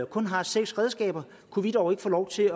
kun har seks redskaber så kunne vi dog ikke få lov til